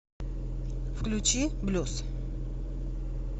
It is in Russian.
включи блюз